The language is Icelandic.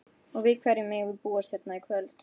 Og við hverju megum við búast hérna í kvöld?